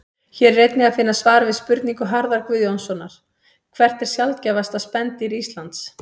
Hér er einnig að finna svar við spurningu Harðar Guðjónssonar Hvert er sjaldgæfasta spendýr Íslands?